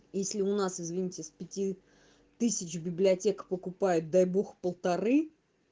если у нас извините с пяти тысяч библиотек покупают дай бог полторы